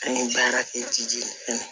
Ni baarakɛjan